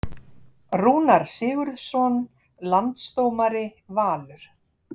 Rúnar Sigurðsson Landsdómari Valur